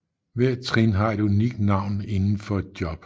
Hver trin har et unikt navn inden for et job